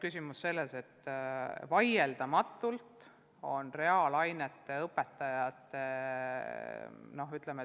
Küsimus on selles, et vaieldamatult on reaalainete õpetajaid puudu.